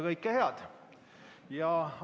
Kõike head!